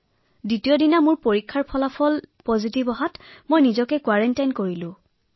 পিছদিনা প্ৰতিবেদন দিয়াৰ লগে লগে মই পজিটিভ ঘোষিত হোৱা লগে লগে মই নিজকে আচুতীয়াকৈ ৰাখিলো